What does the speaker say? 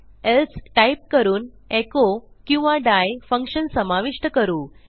else type करून echo किंवा die function समाविष्ट करू